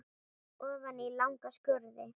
Ofan í langa skurði.